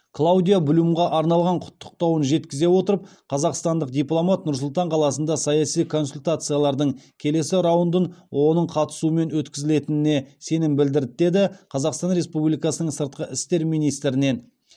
клаудиа блюмға арналған құттықтауын жеткізе отырып қазақстандық дипломат нұр сұлтан қаласында саяси консультациялардың келесі раундын оның қатысуымен өткізілетініне сенім білдірді деді қазақстан республикасының сыртқы істер министрінен